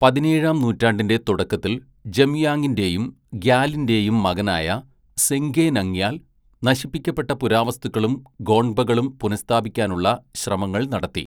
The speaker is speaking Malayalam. പതിനേഴാം നൂറ്റാണ്ടിൻ്റെ തുടക്കത്തിൽ ജംയാങ്ങിൻ്റെയും ഗ്യാലിൻ്റെയും മകനായ സെങ്ഗെ നംഗ്യാൽ, നശിപ്പിക്കപ്പെട്ട പുരാവസ്തുക്കളും ഗോൺപകളും പുനഃസ്ഥാപിക്കാനുള്ള ശ്രമങ്ങൾ നടത്തി.